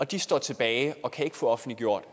de står tilbage og kan ikke få offentliggjort